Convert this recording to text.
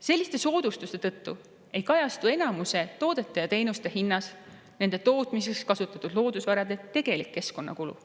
Selliste soodustuste tõttu ei kajastu enamuse toodete ja teenuste hinnas nende tootmiseks kasutatud loodusvarade tegelik keskkonnakulu.